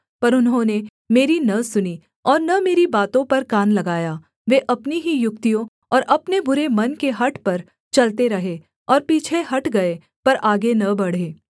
पर उन्होंने मेरी न सुनी और न मेरी बातों पर कान लगाया वे अपनी ही युक्तियों और अपने बुरे मन के हठ पर चलते रहे और पीछे हट गए पर आगे न बढ़े